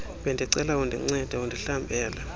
bendicela undincede undihlambele